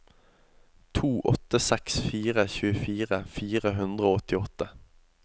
to åtte seks fire tjuefire fire hundre og åttiåtte